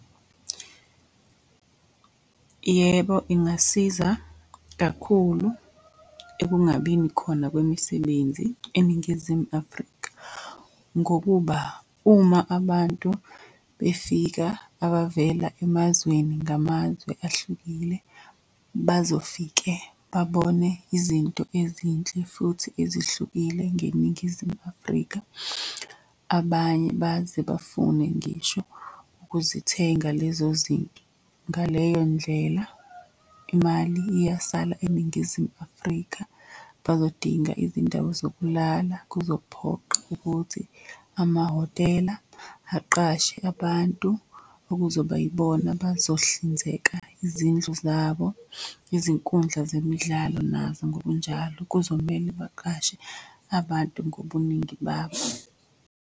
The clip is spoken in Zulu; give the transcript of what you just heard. Yebo, ingasiza kakhulu ekungabini khona kwemisebenzi eNingizimu Afrika. Ngokuba uma abantu befika abavela emazweni ngamazwe ahlukile, bazofike babone izinto ezinhle futhi ezihlukile ngeNingizimu Afrika. Abanye baze bafune ngisho ukuzithenga lezo zinto. Ngaleyo ndlela imali iyasala eNingizimu Afrika, bazodinga izindawo zokulala. Kuzophoqa ukuthi amahhotela aqashe abantu okuzoba yibona abazohlinzeka izindlu zabo, izinkundla zemidlalo nazo ngokunjalo kuzomele baqashe abantu ngobuningi babo.